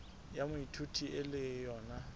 ya moithuti e le yona